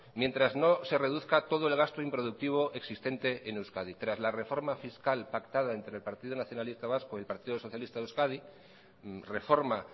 mientras no se reduzca todo el gasto improductivo existente en euskadi tras la reforma fiscal pactada entre el partido nacionalista vasco y el partido socialista de euskadi reforma